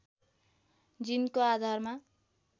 जिनको आधारमा